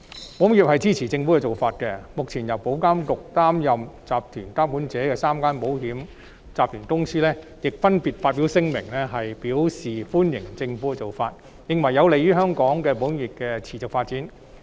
保險業界支持政府的建議，目前由保監局擔任集團監管者的3個國際保險集團亦分別發表聲明，表示歡迎政府的建議，認為此舉有利於香港保險業的持續發展。